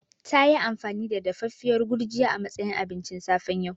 Tayi amfani da dafaffiyar Gurjiya a matsayin abincin safe yau.